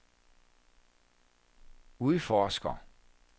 udforsker